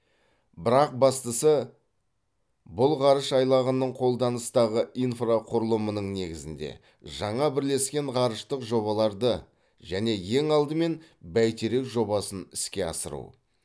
бірақ бастысы бұл ғарыш айлағының қолданыстағы инфрақұрылымының негізінде жаңа бірлескен ғарыштық жобаларды және ең алдымен бәйтерек жобасын іске асыру